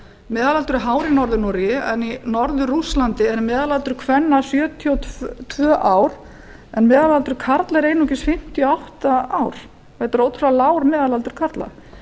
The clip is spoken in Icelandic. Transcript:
meðalaldur er hár í norður noregi en í norður rússlandi eru meðalaldur kvenna sjötíu og tvö ár en meðalaldur karla er einungis fimmtíu og átta ár þetta er ótrúlega lágur meðalaldur karla